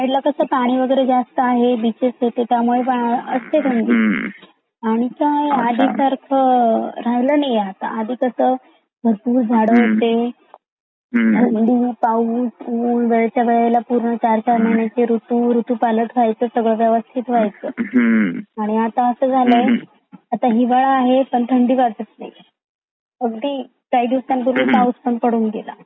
इकडल्या साईड ला कसा पाणी वैगेरे जास्त आहे त्यामुळं असते थंडी आणि काय आधी सारखं राहिला नाही आहे आता, आधी कसा भरपूर झाड होते, थंडी, पाऊस, ऊन वेळेचा वेळेचा ला पूर्ण चार चार महिन्याचे ऋतू ऋतू पालट वाहायचा सगळं व्यवस्थित व्हायच आणि आता असा झालाय आता हिवाळा आहे पण थंडी वाटत नाही. अगदी काही दिवसांपूर्वी पाऊस पण पडून गेला.